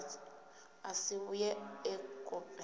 a si vhuye e kope